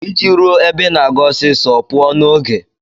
Iji ruo ebe Ị na-aga ọsịsọ, pụọ n'oge.